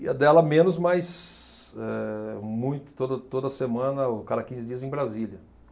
E a dela menos, mas eh, muito, toda, toda semana ou cada quinze dias, em Brasília.